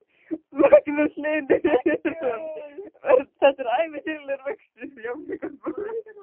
Magnús Hlynur Hreiðarsson: Þetta er ævintýralegur vöxtur?